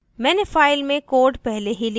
मैंने file में code पहले ही लिख लिया है